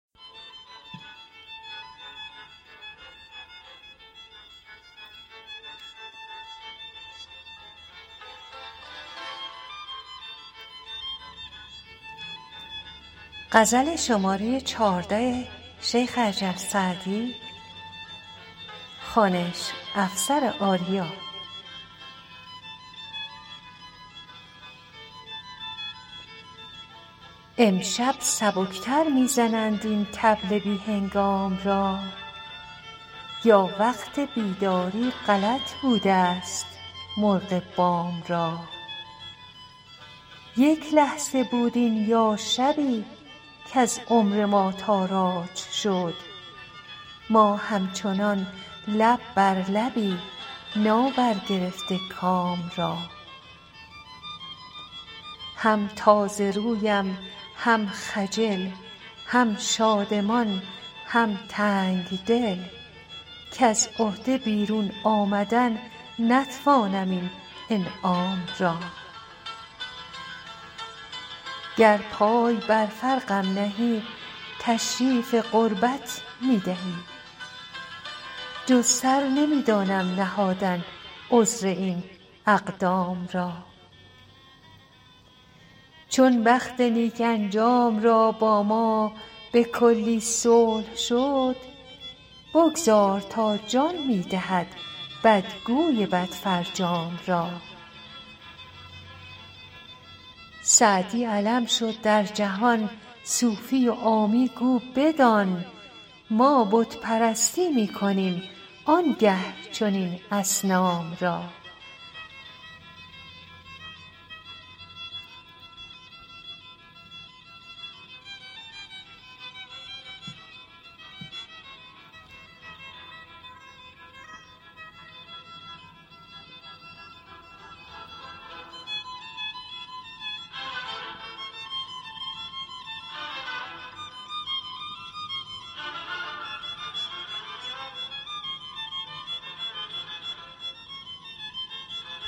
امشب سبک تر می زنند این طبل بی هنگام را یا وقت بیداری غلط بودست مرغ بام را یک لحظه بود این یا شبی کز عمر ما تاراج شد ما همچنان لب بر لبی نابرگرفته کام را هم تازه رویم هم خجل هم شادمان هم تنگ دل کز عهده بیرون آمدن نتوانم این انعام را گر پای بر فرقم نهی تشریف قربت می دهی جز سر نمی دانم نهادن عذر این اقدام را چون بخت نیک انجام را با ما به کلی صلح شد بگذار تا جان می دهد بدگوی بدفرجام را سعدی علم شد در جهان صوفی و عامی گو بدان ما بت پرستی می کنیم آن گه چنین اصنام را